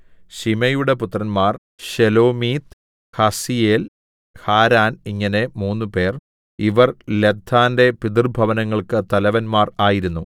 ശിമെയിയുടെ പുത്രന്മാർ Shelomith Haziel Haran ഇങ്ങനെ മൂന്നുപേർ ഇവർ ലദ്ദാന്റെ പിതൃഭവനങ്ങൾക്കു തലവന്മാർ ആയിരുന്നു